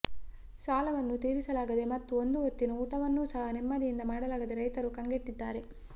ಸಾಲವನ್ನು ತೀರಿಸಲಾಗದೇ ಮತ್ತು ಒಂದು ಹೊತ್ತಿನ ಊಟವನ್ನೂ ಸಹ ನೆಮ್ಮದಿಯಿಂದ ಮಾಡಲಾಗದೇ ರೈತರು ಕಂಗೆಟ್ಟಿದ್ದಾರೆ